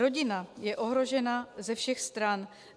Rodina je ohrožena ze všech stran.